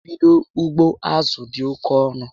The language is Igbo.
I bídó ugbo azụ dị oke ọnụ